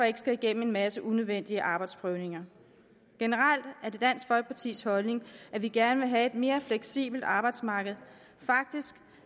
ikke skal igennem en masse unødvendige arbejdsprøvninger generelt er det dansk folkepartis holdning at vi gerne vil have et mere fleksibelt arbejdsmarked faktisk